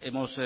hemos